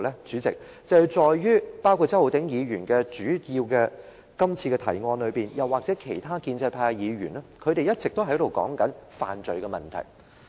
主席，是在周浩鼎議員原議案提出或其他建制派議員一直說的犯罪問題上。